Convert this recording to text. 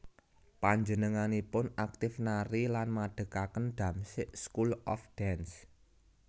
Panjenenganipun aktif nari lan madhegaken Damsyik School of Dance